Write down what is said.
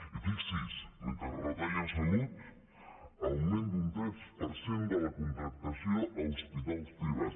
i fixi’s mentre retalla en salut augment d’un tres per cent de la contractació a hospitals privats